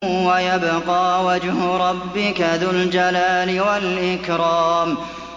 وَيَبْقَىٰ وَجْهُ رَبِّكَ ذُو الْجَلَالِ وَالْإِكْرَامِ